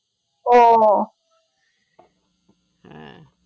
ও